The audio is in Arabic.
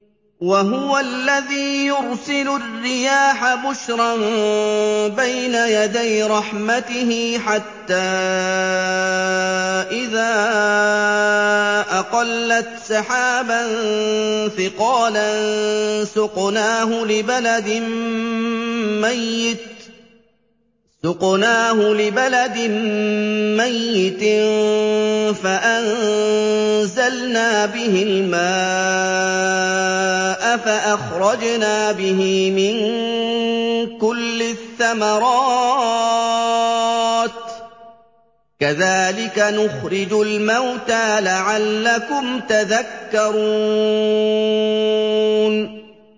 وَهُوَ الَّذِي يُرْسِلُ الرِّيَاحَ بُشْرًا بَيْنَ يَدَيْ رَحْمَتِهِ ۖ حَتَّىٰ إِذَا أَقَلَّتْ سَحَابًا ثِقَالًا سُقْنَاهُ لِبَلَدٍ مَّيِّتٍ فَأَنزَلْنَا بِهِ الْمَاءَ فَأَخْرَجْنَا بِهِ مِن كُلِّ الثَّمَرَاتِ ۚ كَذَٰلِكَ نُخْرِجُ الْمَوْتَىٰ لَعَلَّكُمْ تَذَكَّرُونَ